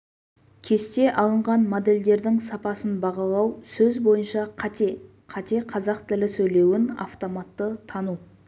кесте алынған модельдердің сапасын бағалау сөз бойынша қате қате қазақ тілі сөйлеуін автоматты тану